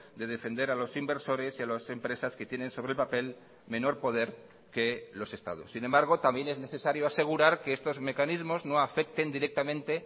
de defender a los inversores y a las empresas que tienen sobre el papel menor poder que los estados sin embargo también es necesario asegurar que estos mecanismos no afecten directamente